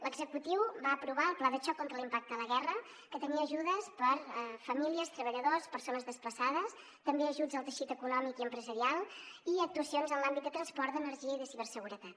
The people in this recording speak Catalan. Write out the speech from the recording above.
l’executiu va aprovar el pla de xoc contra l’impacte de la guerra que tenia ajudes per a famílies treballadors persones desplaçades també ajuts al teixit econòmic i empresarial i actuacions en l’àmbit de transport d’energia i de ciberseguretat